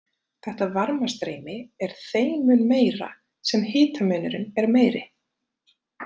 Þetta varmastreymi er þeim mun meira sem hitamunurinn er meiri.